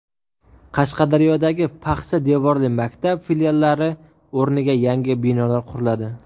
Qashqadaryodagi paxsa devorli maktab filiallari o‘rniga yangi binolar quriladi.